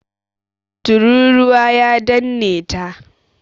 Turūruwa ya danne ta.